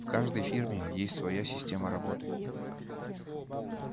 в каждой фирме есть своя система работы